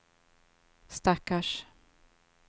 stackars